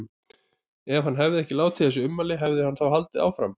Ef hann hefði ekki látið þessi ummæli, hefði hann þá haldið áfram?